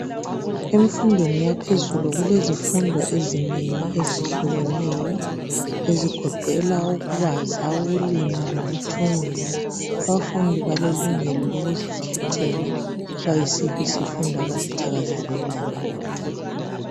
Emfundweni yaphezulu, kulezifundo ezinengi ezehlukeneyo. Ezigoqela ukubaza, ukulima lokuthunga. Abafundi balelungelo lokuzikhethela, loba yisiphi isifundo abasithakazelelayo.